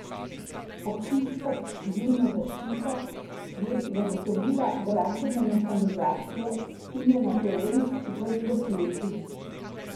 Občinska civilna zaščita je zagotovila gradbeno mehanizacijo in je na terenu skupaj z gasilci.